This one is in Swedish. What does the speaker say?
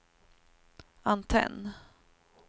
antenn